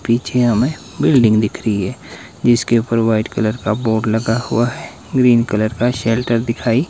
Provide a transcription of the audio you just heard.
पीछे हमें बिल्डिंग दिख रही है जिसके ऊपर व्हाइट कलर का बोर्ड लगा हुआ हैं ग्रीन कलर का शेल्टर दिखाई --